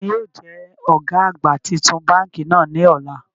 Taani yóò jẹ ọ̀gá àgbà titun báńkì náà ní ọ̀la?